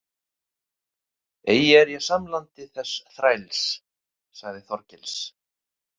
Eigi er ég samlandi þess þræls, sagði Þorgils.